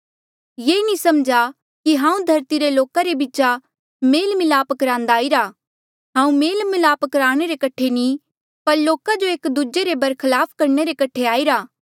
ये नी समझा कि हांऊँ धरती रे लोका रे बीचा मन्झ मेल मलाप करान्दा आईरा हांऊँ मेल मलाप कराणे रे कठे नी पर लोका जो एक दूजे रे बीचा बरखलाप करणे रे कठे आईरा